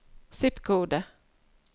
zip-kode